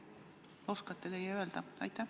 Kas teie oskate seda öelda?